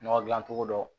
Nɔgɔ dilan cogo dɔ